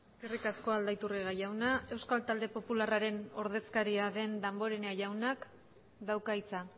eskerrik asko aldaiturriaga jauna euskal talde popularraren ordezkaria den damborenea jaunak dauka hitza